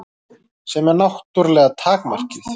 Sem er náttúrlega takmarkið.